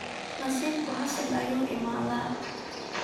Nasibku xasil ayu iimadhaa.